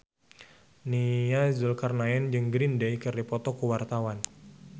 Nia Zulkarnaen jeung Green Day keur dipoto ku wartawan